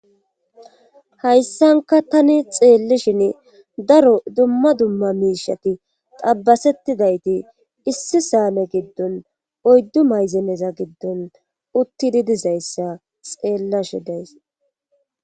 Hayssanka tani xeellishin daro dumma dumma miishati xabbasettidayti issi saame giddon oyddu mayzeneza giddon uttidi dizayssa xeellashi days